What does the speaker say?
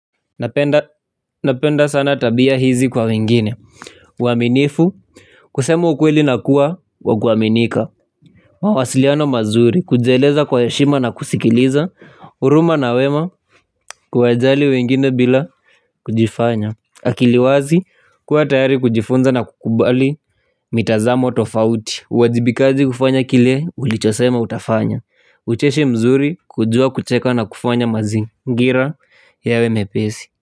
Napenda sana tabia hizi kwa wengine. Uaminifu kusema ukweli nakuwa wa kuaminika. Mawasiliano mazuri kujieleza kwa heshima na kusikiliza huruma na wema kuwajali wengine bila kujifanya akiliwazi kuwa tayari kujifunza na kukubali mitazamo tofauti uwajibikaji kufanya kile ulichosema utafanya ucheshi mzuri kujua kucheka na kufanya mazingira yawe mepesi.